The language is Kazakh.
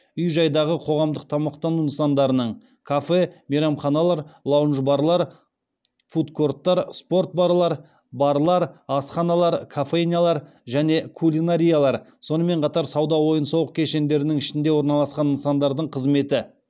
үй жайдағы қоғамдық тамақтану нысандарының сонымен қатар сауда ойын сауық кешендерінің ішінде орналасқан нысандардың қызметі